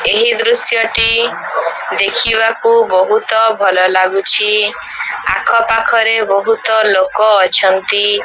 ଏହି ଦୃଶ୍ୟ ଟି ଦେଖିବାକୁ ବହୁତ ଭଲ ଲାଗୁଚି। ଆଖ ପାଖ ରେ ବହୁତ ଲୋକ ଅଛନ୍ତି।